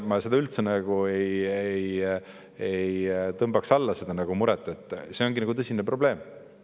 Ma üldse ei tõmbaks alla seda muret, see ongi tõsine probleem.